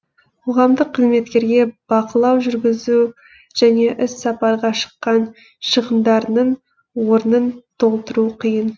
қоғамдық қызметкерге бақылау жүргізу және іс сапарға шыққан шығындарының орнын толтыру қиын